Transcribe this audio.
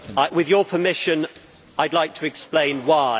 With your permission, I would like to explain why.